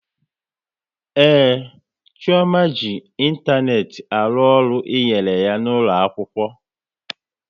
Ee, Chioma ji ịntanetị arụ ọrụ e nyere ya n'ụlọ akwụkwọ